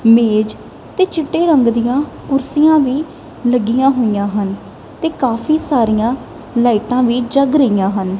ਮੇਜ ਤੇ ਚਿੱਟੇ ਰੰਗ ਦੀਆਂ ਕੁਰਸੀਆਂ ਵੀ ਲੱਗੀਆਂ ਹੋਈਆਂ ਹਨ ਤੇ ਕਾਫੀ ਸਾਰੀਆਂ ਲਾਈਟਾਂ ਵੀ ਜੱਗ ਰਹੀਆਂ ਹਨ।